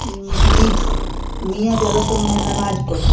इ मस्जिद हअ मिया जालासन उमे नमाज पढ़े।